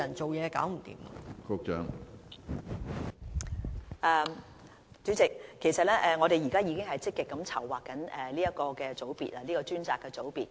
主席，其實我們現在已積極籌劃這個專責組別。